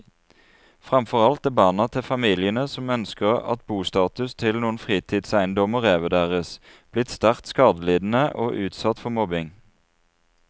Fremfor alt er barna til familiene som ønsker at bostatus til noen fritidseiendommer revurderes, blitt sterkt skadelidende og utsatt for mobbing.